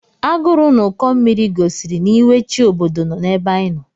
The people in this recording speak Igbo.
Agụrụ na Ụkọ mmiri gosiri na iwe chi obodo nọ n'ebe anyị nọ.